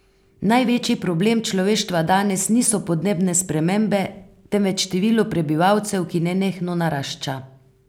Največji problem človeštva danes niso podnebne spremembe, temveč število prebivalcev, ki nenehno narašča.